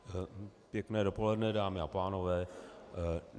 Pěkné dopoledne, dámy a pánové.